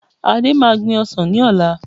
Ade máa gbìn ọsàn ní ọ̀la